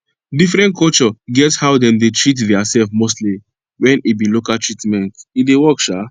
diffrent culture get how dem dey treat deir self mostly wen e be local treatment e dey work sha